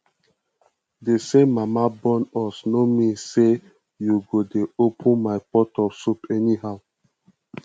the same mama born us no mean say you go dey open my pot of soup anyhow